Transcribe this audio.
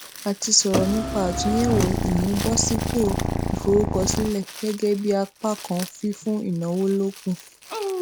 a ti sọrọ nípa àtúnyèwò ìmúbòsípò ìforúkọsílẹ gégé bí apá kan fífún ìnáwó lókun